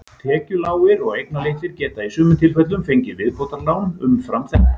Tekjulágir og eignalitlir geta í sumum tilfellum fengið viðbótarlán umfram þetta.